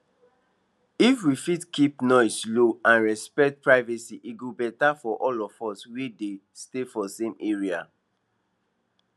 if we fit keep noise low and respect privacy e go better for all of us wey dey stay for same area